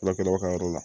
Furakɛlaw ka yɔrɔ la